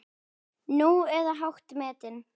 Nú, eða hátt metin.